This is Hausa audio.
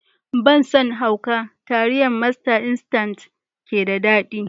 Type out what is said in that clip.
Ban san hauka taliyar masta instant ke da daɗi